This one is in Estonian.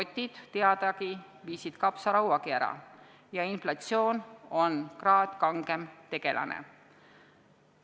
Ent rotid, teadagi, viisid kapsarauagi ära ja inflatsioon on kraad kangem tegelane.